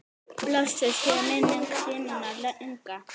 Blessuð sé minning Símonar Inga.